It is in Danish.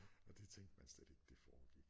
Og det tænkte man slet ikke det foregik